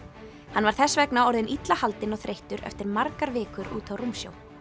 hann var þess vegna orðinn illa haldinn og þreyttur eftir margar vikur úti á rúmsjó